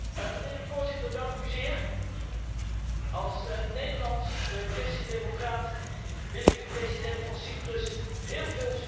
Als Nederlands christendemocraat wil ik de president van Cyprus heel veel succes wensen bij deze moeilijke klus.